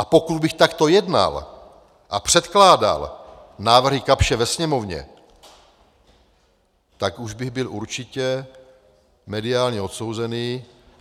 A pokud bych takto jednal a předkládal návrhy Kapsche ve Sněmovně, tak už bych byl určitě mediálně odsouzený.